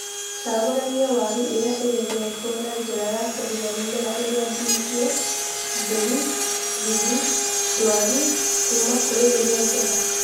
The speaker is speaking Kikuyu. Cagũrania waru iria igĩthetwo na njĩra ya kweheria mĩmera irĩa, ndihiĩ, jũru, mbuthu, dwaru kuuma kũrĩ ĩrĩa njega.